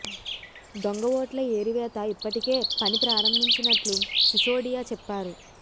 దొంగ ఓట్ల ఏరివేత ఇప్పటికే పని ప్రారంభించినట్లు సిసోడియా చెప్పారు